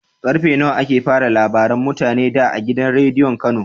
Karfe nawa ake fara labaran mutane da a gidan rediyon kano?